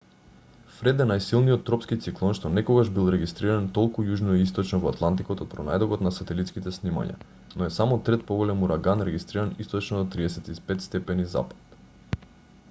фред е најсилниот тропски циклон што некогаш бил регистриран толку јужно и источно во атлантикот од пронајдокот на сателитските снимања но е само трет поголем ураган регистриран источно од 35° w